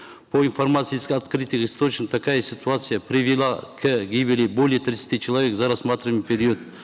по информации из открытых источников такая ситуация привела к гибели более тридцати человек за рассматриваемый период